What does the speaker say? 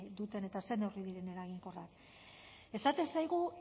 duten eta ze neurri diren eraginkorrak esaten zaigu